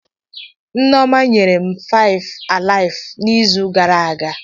Nneoma nyere m faive ailive n'izu gara aga.